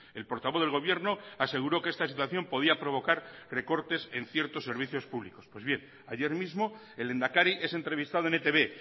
el portavoz del gobierno aseguró que esta situación podía provocar recortes en ciertos servicios públicos pues bien ayer mismo el lehendakari es entrevistado en etb